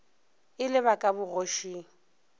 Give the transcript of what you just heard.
e le ba ka bogošing